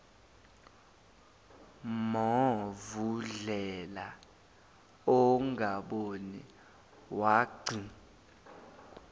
movundlela ongaboni wagci